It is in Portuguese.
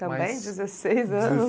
Também, dezesseis anos.